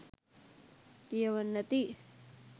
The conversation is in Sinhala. කියවන්න ඇති.